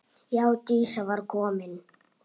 Já, Dísa var komin.